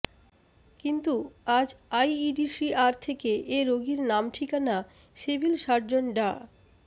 কিন্তু আজ আইইডিসিআর থেকে এ রোগীর নাম ঠিকানা সিভিল সার্জন ডা